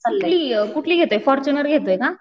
कुठली, कुठली घेतोय फोर्चूनर घेतोय का?